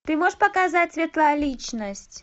ты можешь показать светлая личность